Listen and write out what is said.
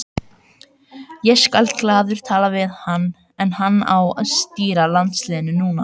Ég skal glaður tala við hann en hann á að stýra landsliðinu núna.